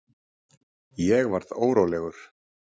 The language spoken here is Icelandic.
Ég varð órólegur.